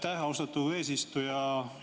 Aitäh, austatud eesistuja!